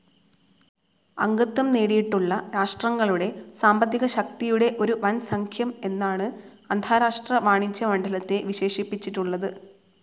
അംഗത്വം നേടിയിട്ടുള്ള രാഷ്ട്രങ്ങളുടെ സാമ്പത്തികശക്തിയുടെ ഒരു വൻസഖ്യം എന്നാണു അന്താരാഷ്ട്ര വാണിജ്യ മണ്ഡലത്തെ വിശേഷിപ്പിച്ചിട്ടുള്ളത്.